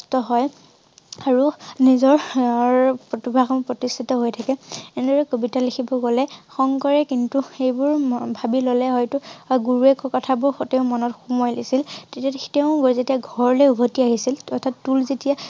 আৰু নিজৰ~অৰ প্ৰতিভা খন প্ৰতিষ্ঠিত হৈ থাকে এনেদৰে কবিতা লিখিব গলে শংকৰে কিন্তু সেইবোৰ ভাবি ললে হয়তো গুৰুৱে কোৱা কথাবোৰ সতে মনত সুমুৱাই লৈছিল তেতিয়া তেওঁ যেতিয়া ঘৰলৈ উভতি আহিছিল অথাৎ টোল যেতিয়া